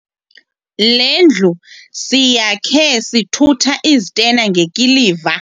Le ndlu siyakhe sithutha izitena ngekiliva.